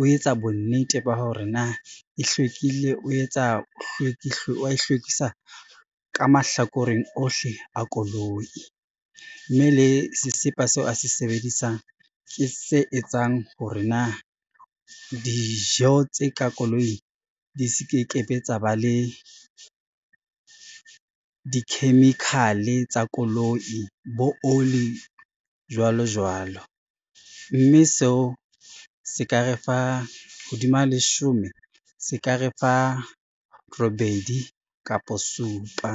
o etsa bonnete ba hore na e hlwekile, wa e hlwekisa ka mahlakoreng ohle a koloi, mme le sesepa seo a se sebedisang ke se etsang hore na dijo tse ka koloing di se ke ke be tsa ba le di-chemical-e tsa koloi bo oli jwalo jwalo, mme seo se ka re fa hodima leshome, se ka re fa robedi kapo supa.